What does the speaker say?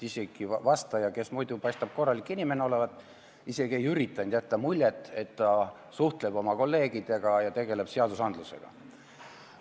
Vastaja, kes muidu paistab korralik inimene olevat, ei üritanud isegi mitte jätta muljet, et ta suhtleb kolleegidega ja tegeleb seadusandlusega.